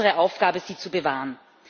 es ist unsere Aufgabe, sie zu bewahren.